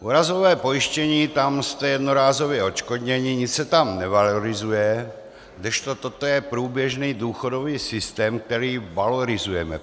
Úrazové pojištění, tam jste jednorázově odškodněni, nic se tam nevalorizuje, kdežto toto je průběžný důchodový systém, který valorizujeme.